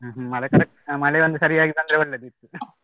ಮಳೆ correct ಆ ಮಳೆ ಒಂದು ಸರಿಯಾಗಿ ಬಂದ್ರೆ ಒಳ್ಳೆದಿತ್ತು.